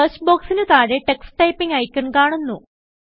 search ബോക്സിനു താഴെ ടക്സ് Typingഐക്കൺ കാണുന്നു